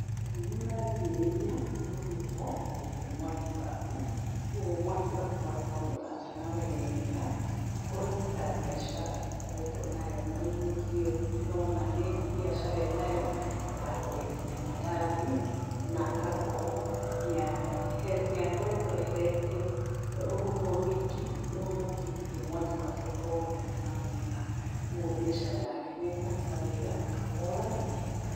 Nĩ ũrarigĩrĩria, rũhuho gũte mwaki waku kuoguo mwaki waku ũgakorũo nĩ ũrakana weega. Okorũo nĩ tabĩacara ũkoretũo nayo, tarĩu ũyũ mũtumia ndĩrona nĩ mbiacara enayo, ya kũendia mandathi, na agakorũo, nĩ akoretũo eheretie rũhuho rũingĩ, rũu rũngĩgiria mwaki wake ũkorũo ũgĩakana weega, kũogũo mbĩacara yake nĩekũruta weega, kahora na ĩhenya.